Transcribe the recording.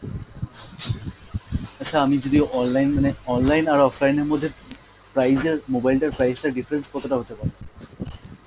আচ্ছা আমি যদি online মানে online আর offline এর মধ্যে price এর mobile টার price টা difference কতটা হতে পারে?